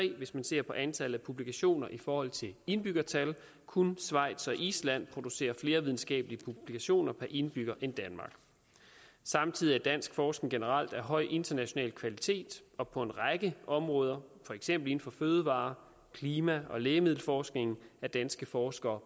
hvis man ser på antallet af publikationer i forhold til indbyggertal kun schweiz og island producerer flere videnskabelige publikationer per indbygger end danmark samtidig er dansk forskning generelt af høj international kvalitet og på en række områder for eksempel inden for fødevare klima og lægemiddelforskning er danske forskere